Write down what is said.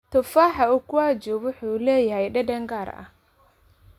Tufaaxa ukwaju wuxuu leeyahay dhadhan gaar ah.